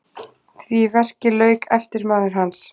Því verki lauk eftirmaður hans